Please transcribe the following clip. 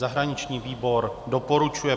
Zahraniční výbor doporučuje